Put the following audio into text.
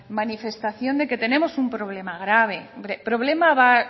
manifestación de que tenemos un problema grave hombre problema